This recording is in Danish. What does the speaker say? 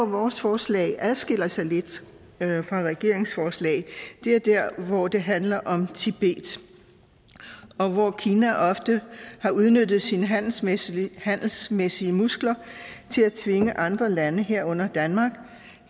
vores forslag adskiller sig lidt fra regeringens forslag er der hvor det handler om tibet og hvor kina ofte har udnyttet sine handelsmæssige handelsmæssige muskler til at tvinge andre lande herunder danmark